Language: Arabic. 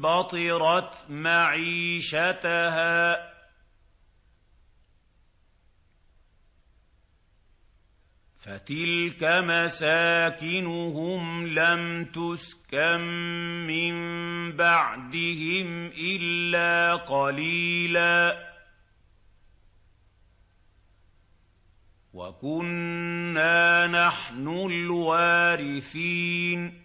بَطِرَتْ مَعِيشَتَهَا ۖ فَتِلْكَ مَسَاكِنُهُمْ لَمْ تُسْكَن مِّن بَعْدِهِمْ إِلَّا قَلِيلًا ۖ وَكُنَّا نَحْنُ الْوَارِثِينَ